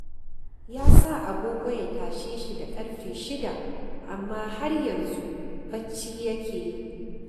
Ya sa agogo ya tashe shi da ƙarfe shida, amma har yanzu bacci yake yi.